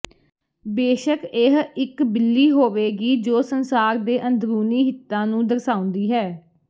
ਬੇਸ਼ਕ ਇਹ ਇੱਕ ਬਿੱਲੀ ਹੋਵੇਗੀ ਜੋ ਸੰਸਾਰ ਦੇ ਅੰਦਰੂਨੀ ਹਿੱਤਾਂ ਨੂੰ ਦਰਸਾਉਂਦੀ ਹੈ